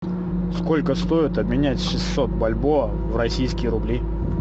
сколько стоит обменять шестьсот бальбоа в российские рубли